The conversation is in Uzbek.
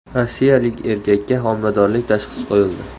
Rossiyalik erkakka homiladorlik tashxisi qo‘yildi.